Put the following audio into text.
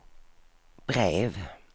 brev